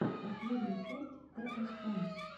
последняя часть тсн